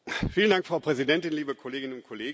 Frau Präsidentin, liebe Kolleginnen und Kollegen!